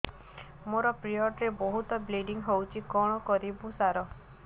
ମୋର ପିରିଅଡ଼ ରେ ବହୁତ ବ୍ଲିଡ଼ିଙ୍ଗ ହଉଚି କଣ କରିବୁ ସାର